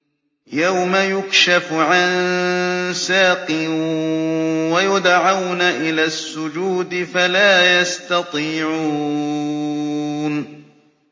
يَوْمَ يُكْشَفُ عَن سَاقٍ وَيُدْعَوْنَ إِلَى السُّجُودِ فَلَا يَسْتَطِيعُونَ